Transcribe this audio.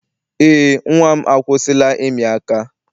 Eé, nnwa m akwụsịla ịmị aka.